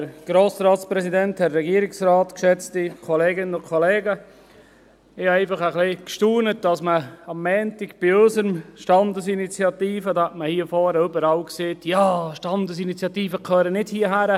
Ich staunte etwas, als man am Montag bei unserer Standesinitiative hier vorne überall sagte: «Standesinitiativen gehören nicht hierhin.